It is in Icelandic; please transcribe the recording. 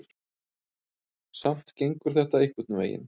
Samt gengur þetta einhvern veginn.